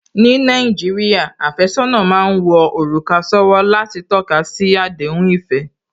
Ní Nàìjíríà, àfẹ́sọ́nà má ń wọ òrùka sówó láti tọ́kasi àdéhùn ìfẹ́